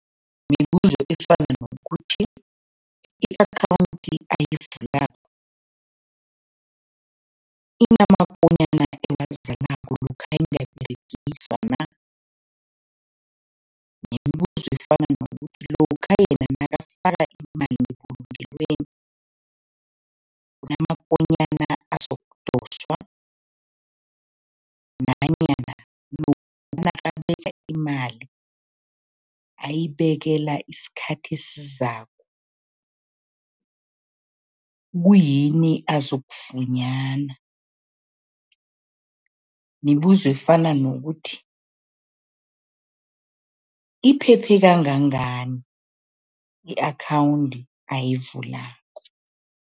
Mibuzo efana nokuthi i-akhawundi ayivulako inamakonyana lokha ingaberegiswa na, nemibuzo efana nokuthi lokha yena nakafaka imali ngebulungelweni, kunamakonyana azokudoswa nanyana nakabeka imali, ayibekela isikhathi esizako, kuyini azokufunyana. Mibuzo efana nokuthi, iphephe kangangani i-akhawundi ayivulako.